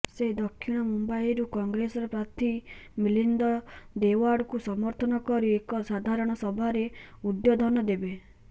ସେ ଦକ୍ଷିଣ ମୁମ୍ବାଇରୁ କଂଗ୍ରେସର ପ୍ରାର୍ଥୀ ମିଲିନ୍ଦ ଦେଓ୍ବଡାଙ୍କୁ ସମର୍ଥନ କରି ଏକ ସାଧାରଣ ସଭାରେ ଉଦ୍ବୋଧନ ଦେବେ